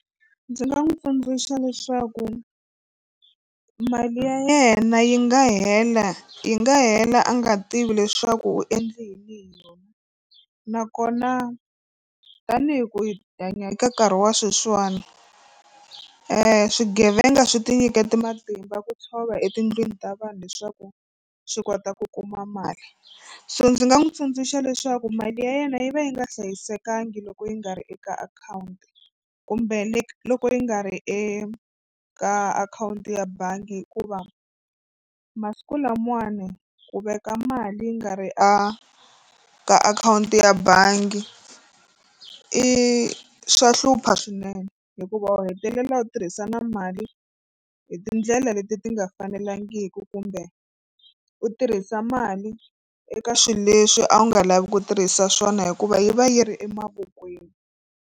Ndzi nga n'wi tsundzuxa leswaku mali ya yena yi nga hela yi nga hela a nga tivi leswaku u endle yini hi yona nakona tanihi ku hi hanya eka nkarhi wa sweswiwani swigevenga swi tinyikete matimba ku tshova etindlwini ta vanhu leswaku swi kota ku kuma mali so ndzi nga n'wi tsundzuxa leswaku mali ya yena yi va yi nga hlayisekanga loko yi nga ri eka akhawunti kumbe loko yi nga ri eka akhawunti ya bangi hikuva masiku lamawani ku veka mali yi nga ri a ka akhawunti ya bangi i swa hlupha swinene hikuva u hetelela u tirhisa na mali hi tindlela leti ti nga fanelangiki kumbe u tirhisa mali eka swilo leswi a wu nga lavi ku tirhisa swona hikuva yi va yi ri emavokweni.